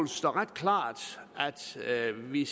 stå ret klart at vi